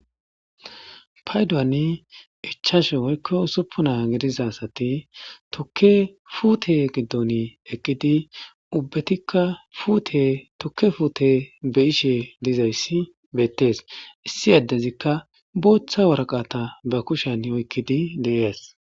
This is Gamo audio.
Paydoani ichashe woykko usuppunaa gidiza asati tfuute giddon eqqidi ubbetikka utetukke fuute be ishe dizayssi beettees issi yaddezikka booththa waraqata ba kushen oykkidi deees.